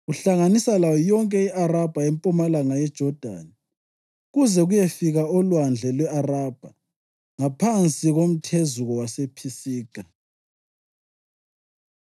kuhlanganisa layo yonke i-Arabha empumalanga yeJodani kuze kuyefika oLwandle lwe-Arabha, ngaphansi komthezuko wasePhisiga.